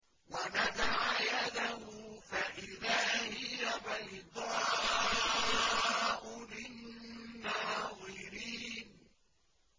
وَنَزَعَ يَدَهُ فَإِذَا هِيَ بَيْضَاءُ لِلنَّاظِرِينَ